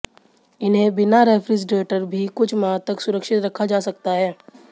इन्हें बिना रेफ्रिजरेटर भी कुछ माह तक सुरक्षित रखा जा सकता है